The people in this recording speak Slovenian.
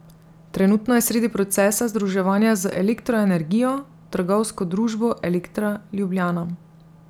Trenutno je sredi procesa združevanja z Elektro energijo, trgovsko družbo Elektra Ljubljana.